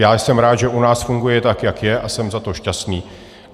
Já jsem rád, že u nás funguje tak, jak je, a jsem za to šťastný.